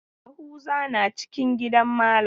Yahuza na cikin gidan malam.